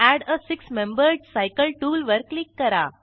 add a six membered cycle tool वर click करा